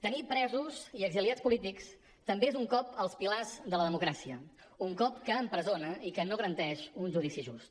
tenir presos i exiliats polítics també és un cop als pilars de la democràcia un cop que empresona i que no garanteix un judici just